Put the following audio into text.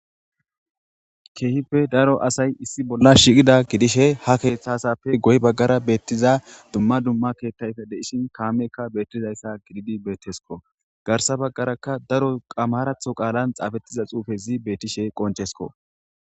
keehipe daro asay issi bolla shiiqida gidishe ha keeththasappe goy baggara beettiza dumma dumma keettayfe deishin kaamekka beettizayssa gididi beettesko garsa baggaraka daro qamaratho qaalan xaafettiza xuufezi beetishe qonchesko